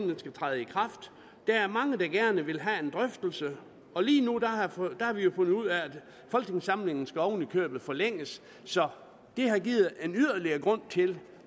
den skal træde i kraft der er mange der gerne vil have en drøftelse og lige nu har vi fundet ud af at folketingssamlingen oven i købet skal forlænges så det har givet yderligere en grund til